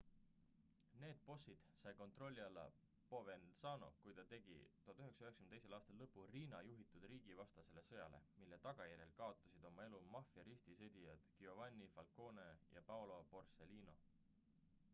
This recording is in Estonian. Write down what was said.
need bossid sai kontrolli alla provenzano kui ta tegi 1992 aastal lõpu riina juhitud riigivastasele sõjale mille tagajärjel kaotasid oma elu maffia ristisõdijad giovanni falcone ja paolo borsellino